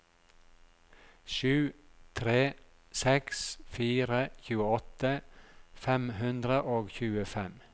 sju tre seks fire tjueåtte fem hundre og tjuefem